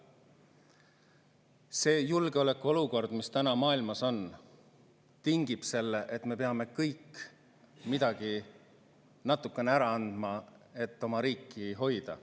See julgeolekuolukord, mis täna maailmas on, tingib selle, et me kõik peame midagi natuke ära andma, et oma riiki hoida.